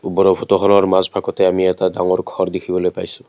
ওপৰৰ ফটোখনৰ মাজ ভাগতে আমি এটা ঘৰ দেখিবলৈ পাইছোঁ।